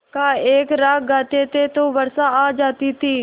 का एक राग गाते थे तो वर्षा आ जाती थी